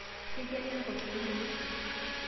Keikeno enkop te le isho